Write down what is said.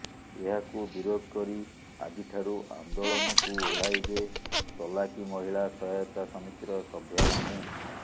ଏହାକୁ ବିରୋଧ କରି ଆଜି ଠାରୁ ଆନ୍ଦୋଳନକୁ ଓହ୍ଲାଇବେ ତଲାକି ମହିଳା ସହାୟତା ସମିତିର ସଭ୍ୟା ମାନେ